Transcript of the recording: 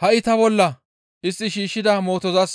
Ha7i ta bolla istti shiishshida mootozas